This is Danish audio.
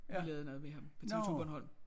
Lavede noget med ham TV2 Bornholm